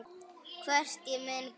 Hvort ég muni geta þetta.